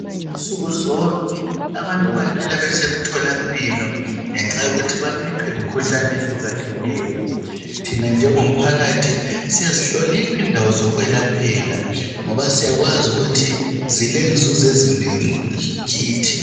Nsukuzonke abantu bahlala besemtholampilo ngenxa yokuthi baphethwe yimikhuhlane ehlukahlukene. Thina njengomphakathi, siyazihlonipha indawo zokwelaphela ngoba syakwazi ukuthi zilenzuzo ezinengi kithi.